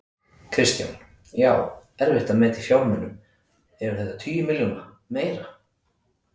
Kristján: Já, erfitt að meta í fjármunum, eru þetta tugir milljóna, meira?